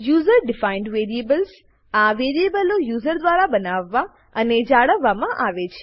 user defined variables આ વેરીબલો user દ્વારા બનાવવા અને જાળવવામાં આવે છે